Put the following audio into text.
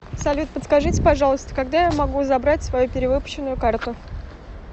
салют подскажите пожалуйста когда я могу забрать свою перевыпущенную карту